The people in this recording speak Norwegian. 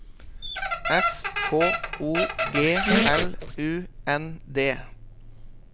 S K O G L U N D